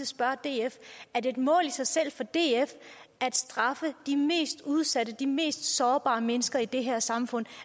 spørge df er det et mål i sig selv for df at straffe de mest udsatte de mest sårbare mennesker i det her samfund